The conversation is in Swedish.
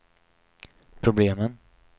problemen